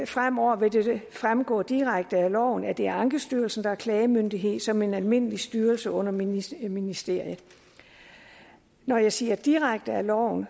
fremover vil fremgå direkte af loven at det er ankestyrelsen der er klagemyndighed som en almindelig styrelse under ministeriet ministeriet når jeg siger det direkte af loven